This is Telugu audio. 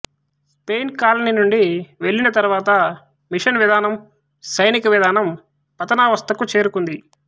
స్పెయిన్ కాలనీ నుండి వెళ్ళిన తరువాత మిషన్ విధానం సైనిక విధానం పతనావస్థకు చేరుకుంది